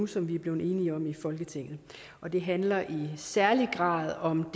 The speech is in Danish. som vi er blevet enige om her i folketinget og det handler i særlig grad om